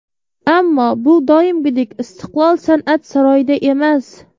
Ammo bu doimgidek ‘Istiqlol’ san’at saroyida emas.